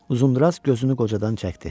Uzundraz gözünü qocadan çəkdi.